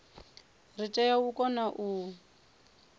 ri tea u kona u